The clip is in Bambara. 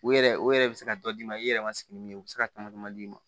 U yɛrɛ o yɛrɛ bɛ se ka dɔ d'i ma i yɛrɛ ma sigi ni min ye u bɛ se ka tama d'i ma